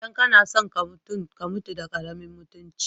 Idan ka na so ka mutum, ka mutu da karemin mutumci.